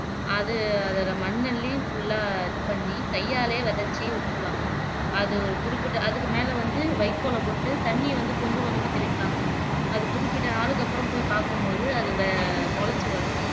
அது அதுல மண் அள்ளி full ஆ இதுபண்ணி கைய்யாலையே விதைச்சு விட்டுருவாங்க அது ஒரு குறிப்பிட்ட அதுக்கு மேல வந்து வைக்கோல போட்டு தண்ணிய வந்து கொஞ்சம் கொஞ்சமா தெளிப்பாங்க அது குறிப்பிட்ட நாளுக்கு அப்பறம் போய் பாக்கும்போது அது வேமொளச்சு வரும்